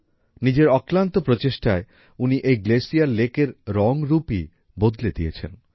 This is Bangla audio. নিজের অক্লান্ত প্রচেষ্টায় উনি এই গ্লেসিয়ার লেক এর রং রূপই বদলে দিয়েছেন